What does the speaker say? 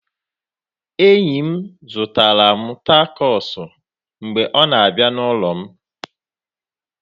Enyi m zụtara m tacos mgbe ọ na-abịa n'ụlọ m